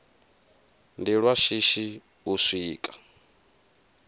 ndi lwa shishi u swika